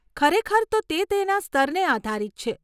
ખરેખર તો તે તેના સ્તરને આધારિત છે.